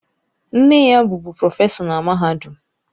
Nne ya bụbu prọfesọ na mahadum.